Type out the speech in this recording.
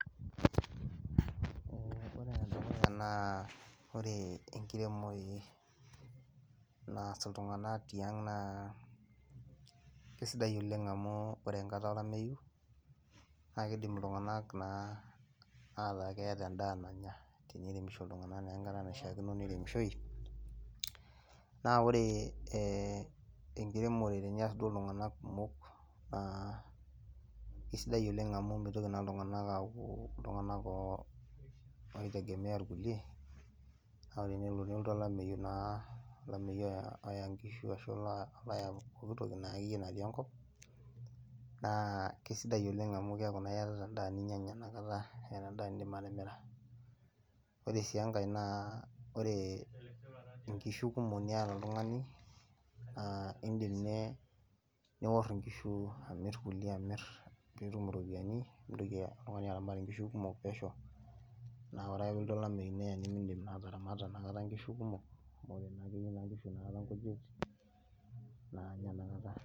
Ore enedukuya naa ore enkiremore naas iltung'anak tiang' naa kesidai oleng amu ore enkata olameyu naa kiidim iltung'anak naa ataa keeta endaa nanya teniremisho iltung'anak naa enkata naishiakino neiremishoi. Naa ore enkiremore tenias iltung'anak kumok naa isidai oleng amu mitoki naa iltung'anak aaku iltung'anak ooitegemea irkulie naa ore enelo nelotu olameyu naa, olameyu oya nkishu ashu oloya pooki toki naa akeyie natii enkop naa kesidai oleng amu keeku naa iyatata endaa inakata, iyata endaa niindim atimira. Ore sii enkae naa inkishu kumok niata oltung'ani, iindim ninye niworr inkishu amirr kulie amirr piitum iropiyiani mintoki oltung'ani aramat nkishu kumok pesho naa ore peelotu olameyu neya nimiindim naa ataramata inakata nkishu kumok amu ore naa keyieu nkishu inakata nkujit naanya inakata